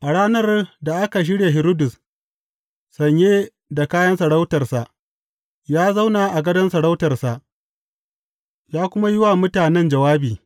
A ranar da aka shirya Hiridus, sanye da kayan sarautarsa, ya zauna a gadon sarautarsa ya kuma ya wa mutanen jawabi.